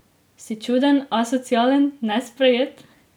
Si čuden, asocialen, nesprejet?